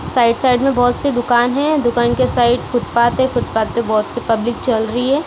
Side side में बहुत से दुकान है दुकान के साइड फुटपाथ है फुटपाथ पे बहुत से पब्लिक चल रही है।